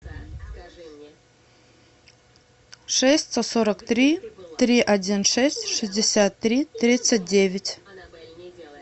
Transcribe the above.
шесть сто сорок три три один шесть шестьдесят три тридцать девять